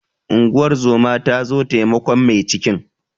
Unguwar zoma ta zo taimakon mai cikin.